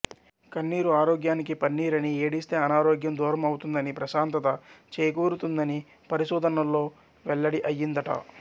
కన్నీరు ఆరోగ్యానికి పన్నీరని ఏడిస్తే అనారోగ్యం దూరం అవుతుందనీ ప్రశాంతత చేకూరుతుందనీ పరిశోధనల్లో వెల్లడి అయ్యిందట